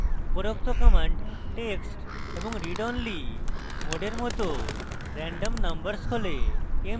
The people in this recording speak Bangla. উপরোক্ত command text এবং read only mode mode randomnumbers খোলে